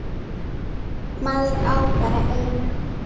Síðan skoðum við málið.